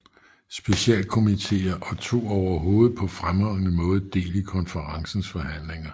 Specialkomiteer og tog overhovedet paa fremtrædende Maade Del i Konferencens Forhandlinger